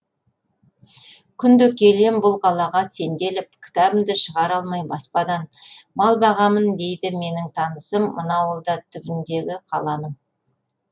күнде келем бұл қалаға сенделіп кітабымды шығара алмай баспадан мал бағамын дейді менің танысым мына ауылда түбіндегі қаланың